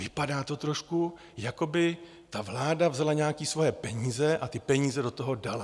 Vypadá to trošku, jako by ta vláda vzala nějaké svoje peníze a ty peníze do toho dala.